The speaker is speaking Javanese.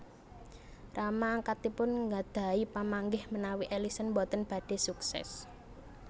Rama angkatipun nggadhahi pamanggih menawi Ellison boten badhé suksés